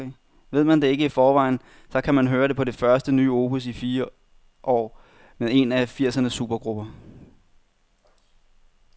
Ved man ikke det i forvejen, så kan man høre det på det første nye opus i fire år med en af firsernes supergrupper.